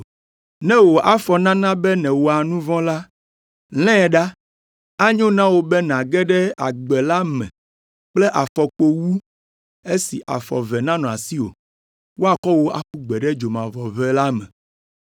Ne wò afɔ nana be nèwɔa nu vɔ̃ la, lãe ɖa. Enyo na wò be nàge ɖe agbe la me kple afɔkpo wu esi afɔ eve nanɔ asiwò, woakɔ wò aƒu gbe ɖe dzomavɔʋe la me.